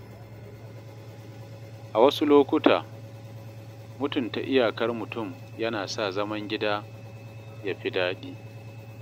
A wasu lokuta, mutunta iyakar mutum yana sa zaman gida ya fi daɗi.